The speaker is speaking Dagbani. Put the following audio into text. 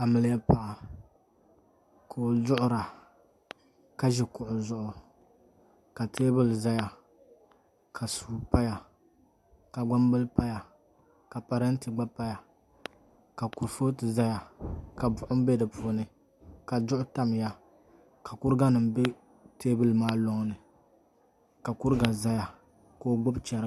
Amiliya paɣa ka o duɣura ka ʒi kuɣu zuɣu ka teebuli ʒɛya ka suu paya ka gbambili paya ka parantɛ gba paya ka kurifooti ʒɛya ka buɣum bɛ di puuni ka duɣu tamya ka kuriga nim bɛ teebuli maa loŋni ka kuriga ʒɛya ka o gbubi chɛriga